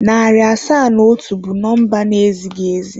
Narị asaa na atọ bụ number na ezighị ezi.